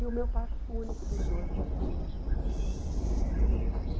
E o meu pai foi o único dos oito que que fez faculdade.